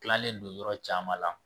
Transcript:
Tilalen don yɔrɔ caman la